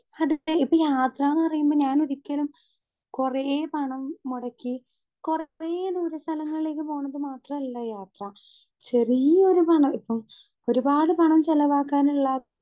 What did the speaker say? Speaker 2 ഇപ്പൊ യാത്രാന്ന് പറയുമ്പൊ ഞാനൊരിക്കലും കൊറേ പണം മൊടക്കി കൊറേ ദൂര സ്ഥലങ്ങളിലേക്ക് പോണത് മാത്രല്ല യാത്ര ചെറിയൊരു പണം ഇപ്പം ഒരുപാട് പണം ചെലവാക്കാന്ള്ള.